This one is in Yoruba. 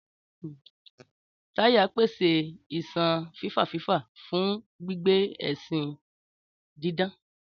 Táyà ń pèsè iṣan fífà-fífà fún gbígbé ẹṣin dídán.